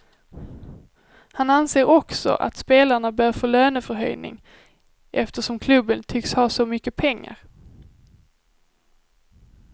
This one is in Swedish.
Han anser också att spelarna bör få löneförhöjning eftersom klubben tycks ha så mycket pengar.